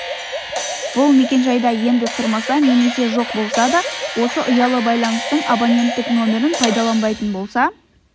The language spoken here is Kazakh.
бұл мекенжайда енді тұрмаса немесе жоқ болса да осы ұялы байланыстың абоненттік нөмірін пайдаланбайтын болса